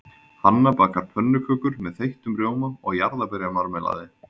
Hanna bakar pönnukökur með þeyttum rjóma og jarðarberjamarmelaði.